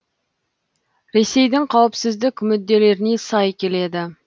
ресейдің қауіпсіздік мүдделеріне сай келеді